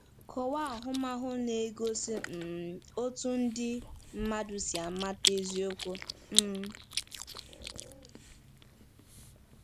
Kọwaa ahụmahụ na-egosi um otú ndị mmadụ si amata eziokwu. um